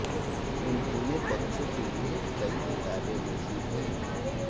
उन्होंने बच्चों के लिए कई किताबें लिखी हैं